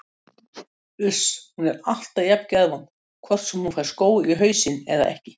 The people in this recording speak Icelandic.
Uss, hún er alltaf jafn geðvond hvort sem hún fær skó í hausinn eða ekki